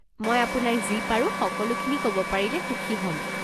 মই আপোনাক যি পাৰো সকলোখিনি ক'ব পাৰিলে সুখী হ'ম।